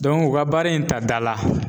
u ka baara in ta dala.